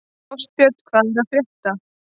Ástbjörn, hvað er að frétta?